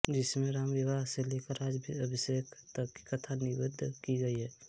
जिसमें रामविवाह से लेकर राज्याभिषेक तक की कथा निबद्ध की गई है